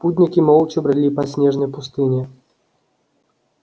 путники молча брели по снежной пустыне